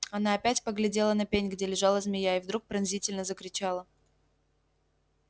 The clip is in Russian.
она опять поглядела на пень где лежала змея и вдруг пронзительно закричала